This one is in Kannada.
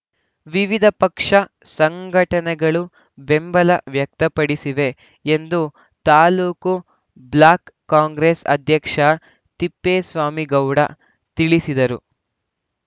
ವಿವಿಧ ಪಕ್ಷ ಸಂಘಟನೆಗಳು ಬೆಂಬಲ ವ್ಯಕ್ತ ಪಡಿಸಿವೆ ಎಂದು ತಾಲೂಕು ಬ್ಲಾಕ್‌ ಕಾಂಗ್ರೆಸ್‌ ಅಧ್ಯಕ್ಷ ತಿಪ್ಪೇಸ್ವಾಮಿಗೌಡ ತಿಳಿಸಿದರು